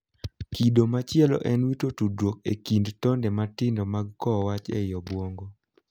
Kido machielo en wito tudruok e kind tonde matindo mag kowo wach ei obuongo.